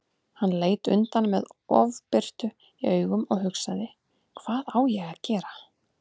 Hann leit undan með ofbirtu í augum og hugsaði: Hvað á ég að gera?